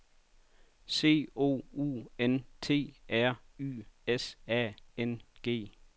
C O U N T R Y S A N G